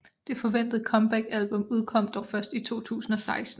Der forventede comebackalbum udkom dog først i 2016